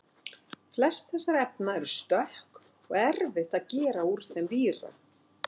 Flest þessara efna eru stökk og erfitt að gera úr þeim víra.